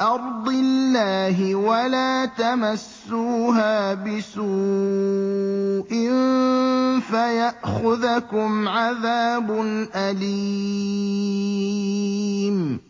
أَرْضِ اللَّهِ ۖ وَلَا تَمَسُّوهَا بِسُوءٍ فَيَأْخُذَكُمْ عَذَابٌ أَلِيمٌ